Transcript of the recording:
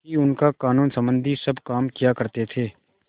ही उनका कानूनसम्बन्धी सब काम किया करते थे